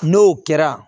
N'o kɛra